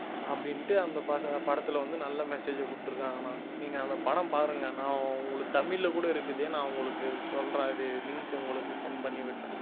அப்படின்னுட்டு அந்த பட~ படத்திலே வந்து நல்ல message கொடுத்திருக்காங்கண்ணா நீங்க அந்த படம் பாருங்க நான் உங்களுக்கு தமிழ்ல கூட இருக்குது நான் உங்களுக்கு சொல்றேன் அது link உங்களுக்கு send பண்ணி விடுறேன்